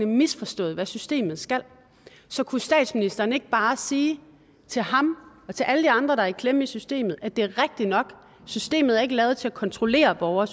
misforstået hvad systemet skal så kunne statsministeren ikke bare sige til ham og til alle de andre der er i klemme i systemet at det er rigtigt nok at systemet ikke er lavet til at kontrollere borgere